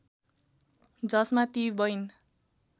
जसमा ती वैन